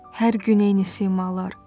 Hər gün eyni simalar.